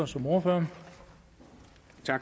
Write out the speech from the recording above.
som ordfører